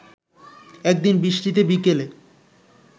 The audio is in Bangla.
একদিন বৃষ্টিতে বিকেলে